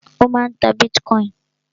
Ó máà ń ta bitcoin.